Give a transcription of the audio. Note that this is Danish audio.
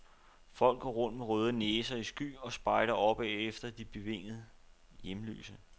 Folk går rundt med røde næser i sky og spejder opad efter de bevingede hjemløse.